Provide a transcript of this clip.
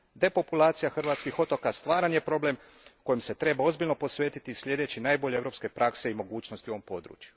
Depopulacija hrvatskih otoka stvaran je problem kojim se treba ozbiljno posvetiti slijedeći najbolje europske prakse i mogućnosti u ovom području.